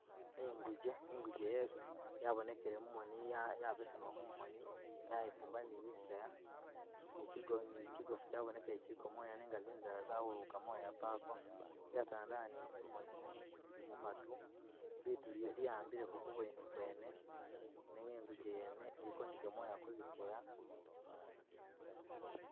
Inguje, inguje yabonekele mumoni yabesema mumoni yayifumba ni zisaya ni kyigofu kyabonekele kyiliko moya nenga zinzala zawululukile moya pako yatandala ni zimoni ili mumatu, litu lwa’ambileko kubweni kwene nenga inguje yene iliko ni gamoya kuziseya.